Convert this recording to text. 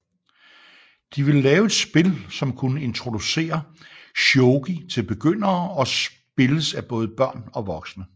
De ville lave et spil som kunne introducere shogi til begyndere og spilles af både børn og voksne